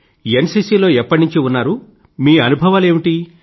NCC లో ఎప్పటి నుండి ఉన్నారు మీ అనుభవాలు ఏమిటి